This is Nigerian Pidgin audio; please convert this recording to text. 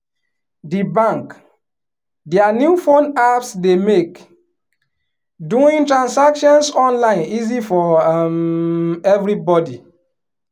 di bank dia new phone apps dey make doing transactions online easy for um everybody